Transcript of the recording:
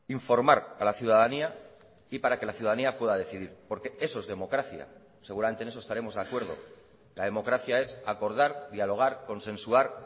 informar a la ciudadanía y para que la ciudadanía pueda decidir porque eso es democracia seguramente en eso estaremos de acuerdo la democracia es acordar dialogar consensuar